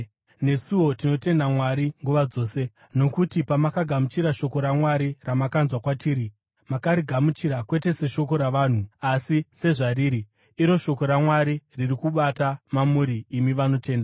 Nesuwo tinotenda Mwari nguva dzose, nokuti pamakagamuchira shoko raMwari, ramakanzwa kwatiri, makarigamuchira, kwete seshoko ravanhu, asi sezvariri, iro shoko raMwari, riri kubata mamuri imi vanotenda.